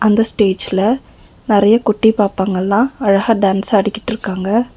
இந்த ஸ்டேஜ்ல நெறய குட்டி பாப்பாங்கலாம் அழகா டான்ஸ் ஆடிகிட்டு இருக்காங்க.